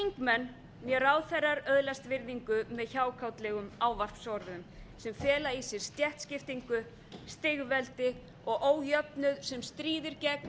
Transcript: hvorki þingmenn né ráðherrar öðlast virðingu með hjákátlegum ávarpsorðum sem fela í sér stéttaskiptingu stigveldi og ójöfnuð sem stríðir gegn